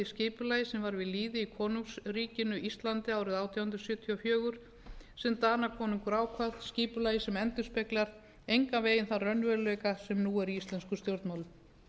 skipulagi sem var við lýði í konungsríkinu íslandi árið átján hundruð sjötíu og fjögur sem danakonungur ákvað skipulagi sem endurspeglar engan veginn þann raunveruleika sem nú er í íslenskum stjórnmálum